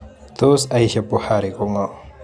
Tos Aisha Buhari ko ng'o?